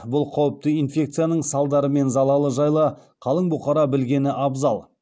бұл қауіпті инфекцияның салдары мен залалы жайлы қалың бұқара білгені абзал